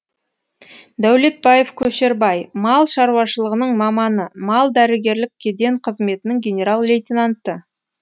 дәулетбаев көшербай мал шаруашылығының маманы мал дәрігерлік кеден қызметінің генерал лейтененті